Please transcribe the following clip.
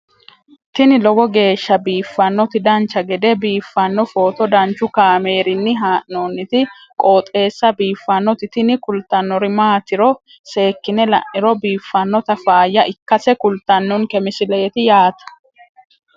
tini lowo geeshsha biiffannoti dancha gede biiffanno footo danchu kaameerinni haa'noonniti qooxeessa biiffannoti tini kultannori maatiro seekkine la'niro biiffannota faayya ikkase kultannoke misileeti yaate